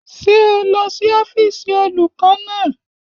Ṣé o lọ sí ọ́fíìsì olùkọ́ náà?